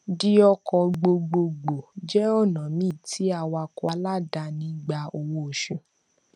di ọkọ gbogbogbò jẹ ọnà míì tí awakọ aláàdáni gbà owó oṣù